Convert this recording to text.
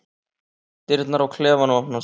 Dyrnar á klefanum opnast aftur.